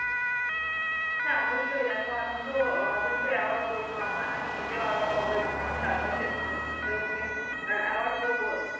হ্যাঁ অবশ্যই দেখো আমি তো অবশ্যই aware করবো আমার আমি নিজে ও aware হবো এবং আমার চারপাশের মানুষ জন দের কে ও aware করবো